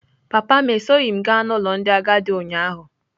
Papa m esoghị m gaa n'ụlọ ndị agadi ụnyaahụ.